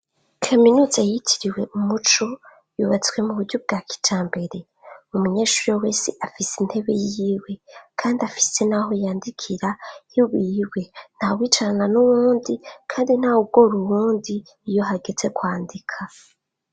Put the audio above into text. Kaminuza yitiriwe Umuco yubatswe mu buryo bwa kica mbere mu munyeshuri wo wese afise intebe yiwe kandi afise naho yandikira hiwiwe nta wicarana n'uwundi kandi nta ugora uwundi iyo hagetse kwandika.